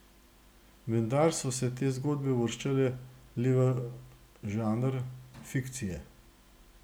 Vendar so se te zgodbe uvrščale le v žanr fikcije.